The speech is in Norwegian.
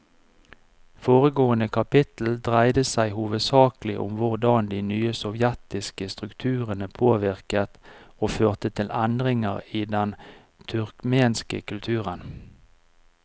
Foregående kapittel dreide seg hovedsakelig om hvordan de nye sovjetiske strukturene påvirket og førte til endringer i den turkmenske kulturen.